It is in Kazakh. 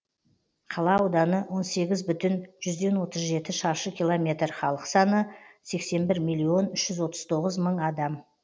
қала ауданы он сегіз бүтін жүзден отыз жеті шаршы километр халық саны сексен бір миллион үш жүз отыз тоғыз мың адам